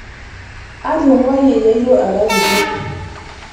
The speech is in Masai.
atungayie yeyio ara kiti